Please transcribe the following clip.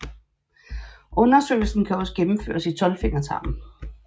Undersøgelsen kan også gennemføres i tolvfingertarmen